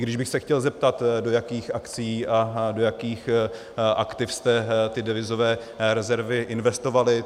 I když bych se chtěl zeptat, do jakých akcií a do jakých aktiv jste ty devizové rezervy investovali.